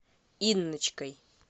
инночкой